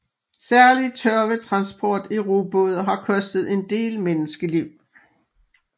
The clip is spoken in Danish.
Særlig tørvetransport i robåde har kostet en del menneskeliv